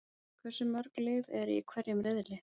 Hversu mörg lið eru í hverjum riðli?